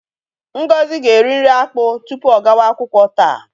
Ngozi ga-eri nri akpụ tupu ọ gawa akwụkwọ taa.